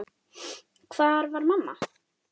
Hvar var mamma?